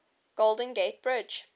golden gate bridge